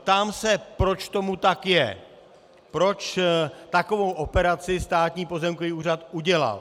Ptám se, proč tomu tak je, proč takovou operaci Státní pozemkový úřad udělal.